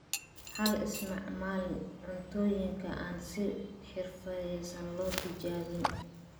Ha isticmaalin cuntooyinka aan si xirfadaysan loo tijaabin.